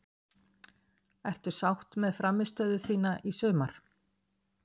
Ertu sátt með frammistöðuna þína í sumar?